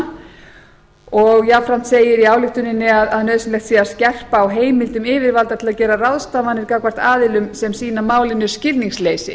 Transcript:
ekki heima jafnframt segir í ályktuninni að nauðsynlegt sé að skerpa á heimildum yfirvalda til að gera ráðstafanir gagnvart aðilum sem sýna málinu skilningsleysi